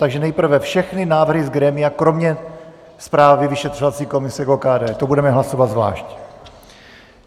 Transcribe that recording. Takže nejprve všechny návrhy z grémia kromě zprávy Vyšetřovací komise k OKD, tu budeme hlasovat zvlášť.